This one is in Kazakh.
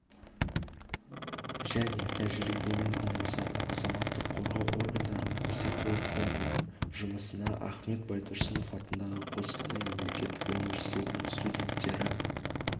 және тәжірибемен алмасады азаматтық қорғау органдарының психологтарының жұмысына ахмет байтұрсынов атындағы қостанай мемлекеттік университетінің студенттері